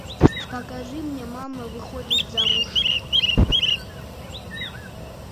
покажи мне мама выходит замуж